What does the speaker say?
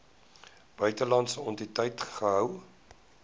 buitelandse entiteit gehou